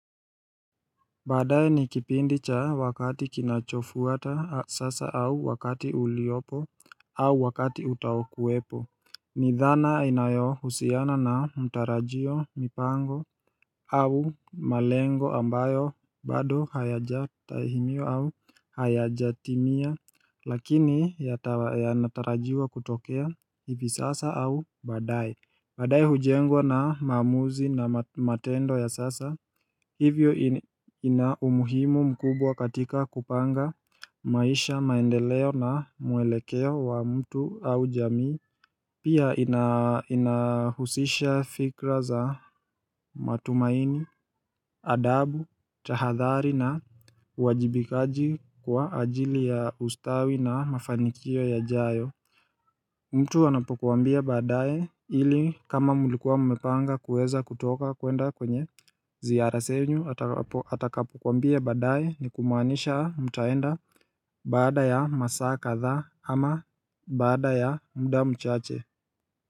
Badaaye ni kipindi cha wakati kinachofuata sasa au wakati uliopo au wakati utaokuwepo Nidhana inayohusiana na mtarajio mipango au malengo ambayo bado hayajatimia Lakini yanatarajiwa kutokea hivi sasa au badaae Badaae hujengwa na maamuzi na matendo ya sasa Hivyo ina umuhimu mkubwa katika kupanga maisha maendeleo na mwelekeo wa mtu au jamii Pia inahusisha fikra za matumaini, adabu, tahathari na wajibikaji kwa ajili ya ustawi na mafanikio yajayo mtu anapokuambia badaaye ili kama mlikuwa mumepanga kuweza kutoka kwenda kwenye ziara zenyu atakapokuambia badaaye ni kumaanisha mtaenda bada ya masaa kadha ama baada ya muda mchache.